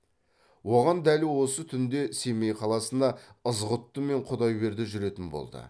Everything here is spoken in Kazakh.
оған дәл осы түнде семей қаласына ызғұтты мен құдайберді жүретін болды